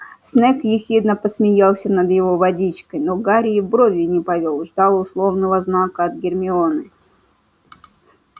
снегг ехидно посмеялся над его водичкой но гарри и бровью не повёл ждал условного знака от гермионы